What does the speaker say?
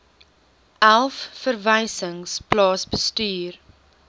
elf verwysings plaasbestuur